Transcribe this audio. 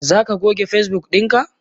Zaka goge Facebook dinka?